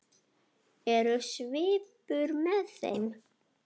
Er svipur með þeim?